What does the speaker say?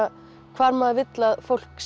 hvar maður vill að fólk